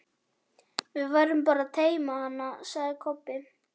Við verðum bara að teyma hann, sagði Kobbi.